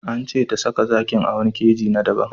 An ce ta saka zakin a wani keji na daban.